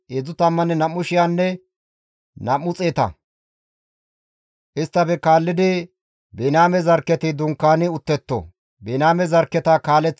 Isttafe kaallidi Biniyaame zarkketi dunkaani uttetto; Biniyaame zarkketa kaaleththanay Gidi7oone naa Abidaane.